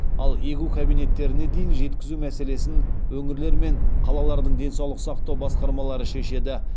ал егу кабинеттеріне дейін жеткізу мәселесін өңірлер мен қалалардың денсаулық сақтау басқармалары шешеді